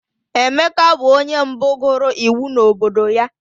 Emeka bụ onye mbụ gụrụ iwu n'obodo ya